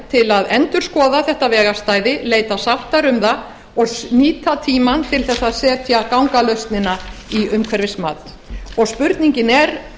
til að endurskoða þetta vegarstæði leita sáttar um það og nýta tímann til þess að setja gangalausnina í umhverfismat og spurningin